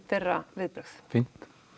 þeirra viðbrögð fínt